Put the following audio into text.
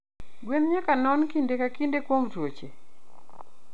gwen nyaka nono kinde ka kinde kuom tuoche?